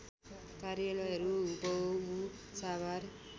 कार्यालयहरू हुबहु साभार